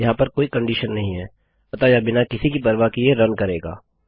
यहाँ पर कोई कंडीशन नहीं है अतः यह बिना किसी की परवाह किये रन करेगा